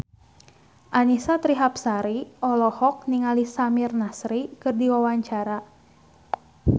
Annisa Trihapsari olohok ningali Samir Nasri keur diwawancara